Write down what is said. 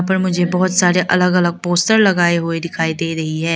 ऊपर मुझे बहोत सारे अलग अलग पोस्टर लगाए हुए दिखाई दे रही है।